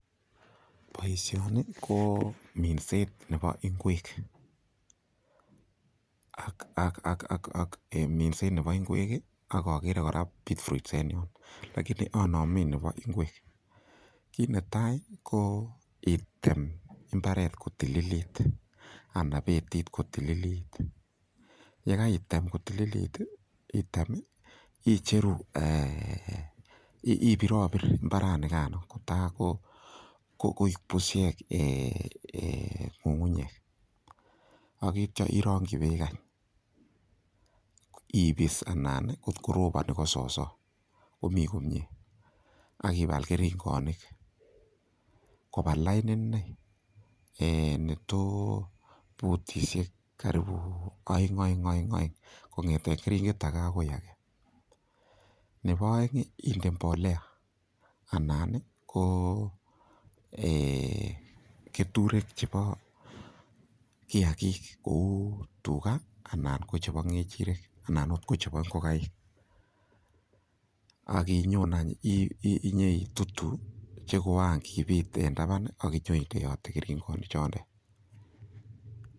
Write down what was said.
Boisioni ko minset nebo ng'wek ak en minset nebo ingwek, ak ogere kora beet roots en ireyono, lagini onomen nebo ngwek, kit netai ko item mbaret kotililit anan betit kotililit, ye kaitem kotililit ii, item icheru, ibirobir mbaranikano kotagokoik bushek ng'ung'nyek. Ak kityo irongi beek any, ibis anan kotko roboni ko sooso, komi komie ak ibal keringonik koba lain iney, neto butishek karibu oeng-oeng-oeng kong'eten keringet age agoi age. Nebo oeng inde mbolea anan ko keturek chebo kiyagik kou tuga anan ko chebo ng'echirek anan ot ko chebo ngokaik, ak inyon any inyoitutu che koran kibit en taban ak inyoindeote keringonik chotet.